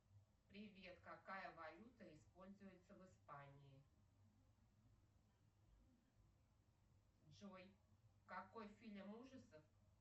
привет какая валюта используется в испании джой какой фильм ужасов